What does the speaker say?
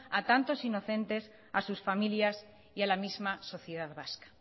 a tantos inocentes a sus familias y a la misma sociedad vasca